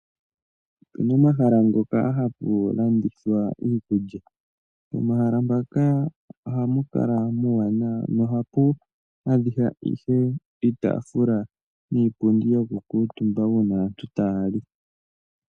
Opuna omahala ngoka hapu landithwa iikulya . Ohamu kala nuuwanawa nohapu adhika ihe iitaafula niipundi yokukuutumba uuna aantu taya li .